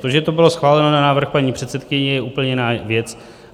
To, že to bylo schváleno na návrh paní předsedkyně, je úplně jiná věc.